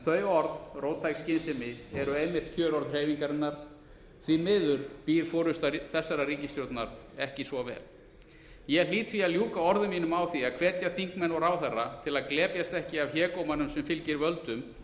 þau orð róttæk skynsemi eru einmitt kjörorð hreyfingarinnar því miður býr forusta þessarar ríkisstjórnar ekki svo vel ég hlýt því að ljúka orðum mínum á því að hvetja þingmenn og ráðherra til að glepjast ekki af hégómanum sem fylgir völdum